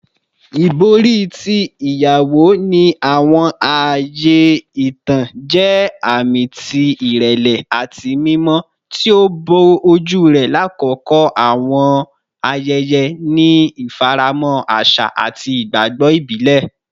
Ibori ti iyawo, ni awọn aaye itan, jẹ aami ti irẹlẹ ati mimọ, ti o bo oju rẹ lakoko awọn ayẹyẹ ni ifaramọ aṣa ati igbagbọ ibile.